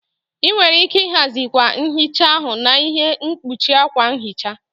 Ị nwere ike ịhazi akwa nhicha ahu na ihe mkpuchi akwa nhicha.